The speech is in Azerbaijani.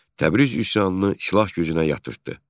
Təbriz üsyanını silah gücünə yatırtdı.